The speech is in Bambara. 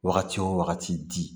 Wagati wo wagati